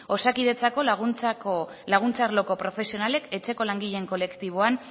osakidetzako laguntza arloko profesionalek etxeko langileen kolektiboan